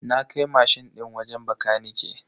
Na kai mashin din wajen bakanike.